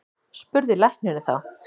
spurði læknirinn þá.